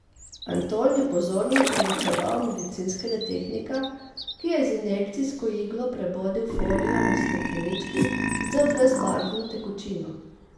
Anton je pozorno proučeval medicinskega tehnika, ki je z injekcijsko iglo prebodel folijo na steklenički z brezbarvno tekočino.